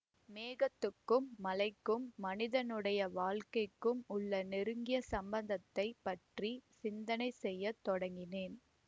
மேகத்துக்கும் மழைக்கும் மனிதனுடைய வாழ்க்கைக்கும் உள்ள நெருங்கிய சம்பந்தத்தைப் பற்றி சிந்தனை செய்ய தொடங்கினேன்